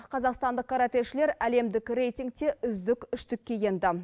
қазақстандық каратэшілер әлемдік рейтингте үздік үштікке енді